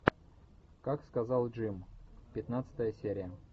как сказал джим пятнадцатая серия